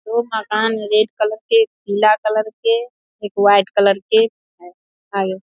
दो मकान में रेड कलर के पीला कलर के एक वाइट कलर के है आगे।